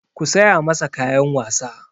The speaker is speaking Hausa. Ku saya masa kayan wasa!